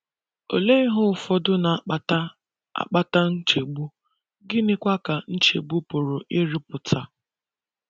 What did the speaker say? Olee ihe ụfọdụ na - akpata - akpata nchegbu, gịnịkwa ka nchegbu pụrụ ịrụpụta?